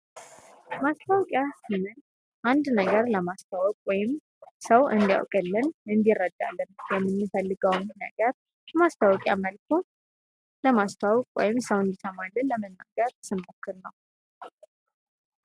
ማስታወቂያ ስንል አንድ ነገር ለማስተዋወቅ ወይም ሰው እንዲያውቅልን፣ እንዲይረዳልን የምንፈልገውን ነገር በማስታወቂያ መልኩ ለማስተዋወቅ ወይም ሰው እንዲሰማለን ለመናገር ስንሞክር ነው።